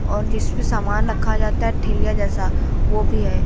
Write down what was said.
और जिसपे सामान रखा जाता है ठेला जैसा वो भी है।